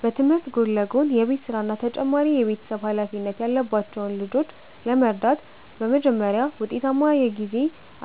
በትምህርት ጎን ለጎን የቤት ሥራና ተጨማሪ የቤተሰብ ኃላፊነት ያለባቸውን ልጆች ለመርዳት በመጀመሪያ ውጤታማ የጊዜ